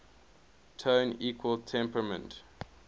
tone equal temperament